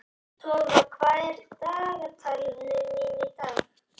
Tófa, hvað er á dagatalinu mínu í dag?